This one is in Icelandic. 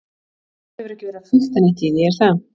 Þú hefur ekki verið að fikta neitt í því, er það?